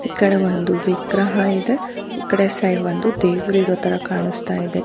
ಈ ಕಡೆ ಒಂದು ವಿಗ್ರಹ ಇದೆ ಈ ಕಡೆ ಸೈಡ್ ಒಂದು ದೇವ್ರ ಇರೋತರ ಕಾಣಿಸ್ತಾ ಇದೆ